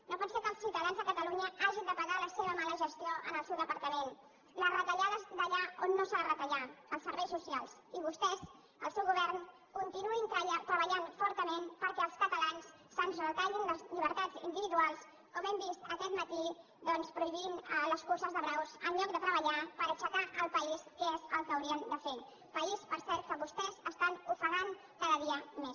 no pot ser que els ciutadans de catalunya hagin de pagar la seva mala gestió en el seu departament les retallades d’allà on no s’ha de retallar els serveis socials i vostès el seu govern continuïn treballant fortament perquè als catalans se’ns retallin les llibertats individuals com hem vist aquest matí doncs prohibint les curses de braus en lloc de treballar per aixecar el país que és el que haurien de fer país per cert que vostès estan ofegant cada dia més